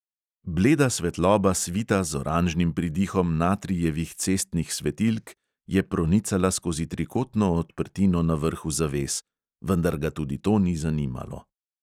Bleda svetloba svita z oranžnim pridihom natrijevih cestnih svetilk je pronicala skozi trikotno odprtino na vrhu zaves, vendar ga tudi to ni zanimalo.